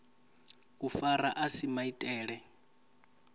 u fara a si maitele